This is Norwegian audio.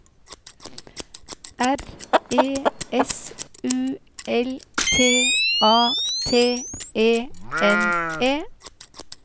R E S U L T A T E N E